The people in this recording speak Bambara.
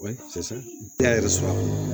O ye da yɛrɛ sɔrɔ